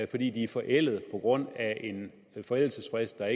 de er forældede på grund af en forældelsesfrist der